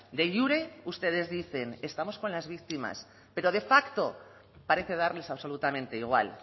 de jure ustedes dicen estamos con las víctimas pero de facto parece darles absolutamente igual